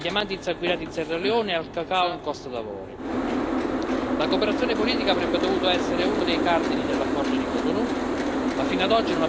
La cooperazione politica avrebbe dovuto essere uno dei cardini dell'accordo di Cotonou, ma fino ad oggi non ha portato neanche lontanamente a quella stabilità che tutti quanti cercavamo.